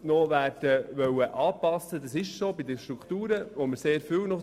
Wir geben tatsächlich noch sehr viele Strukturen vor.